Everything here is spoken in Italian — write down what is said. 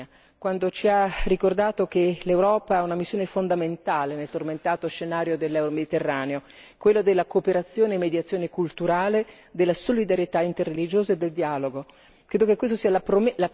dal re di Giordania, quando ci ha ricordato che l'Europa ha una missione fondamentale nel tormentato scenario del Mediterraneo quello della cooperazione e mediazione culturale, della solidarietà interreligiosa e del dialogo.